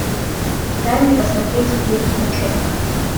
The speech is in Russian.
дай мне посмотреть фильм ночевка